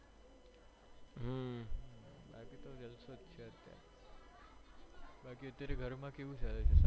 બાકી તો જલસો છેજ અત્યારે બાકી અત્યરે ઘરમાં કેવું ચાલે